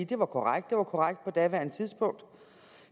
det var korrekt det var korrekt på daværende tidspunkt